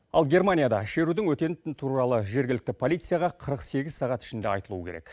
ал германияда шерудің өтетіні туралы жергілікті полицияға қырық сегіз сағат ішінде айтылуы керек